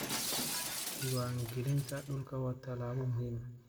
Diiwaangelinta dhulku waa tallaabo muhiim ah.